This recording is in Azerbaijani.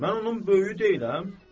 Mən onun böyüyü deyiləm.